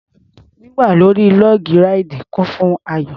Wíwà lórí log ráìdì kún fún ayọ̀.